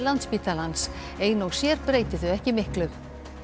Landspítalans ein og sér breyti þau ekki miklu